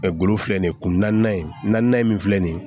golo filɛ nin ye kun naaninan ye min filɛ nin ye